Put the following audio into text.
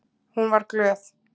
Hún var glöð.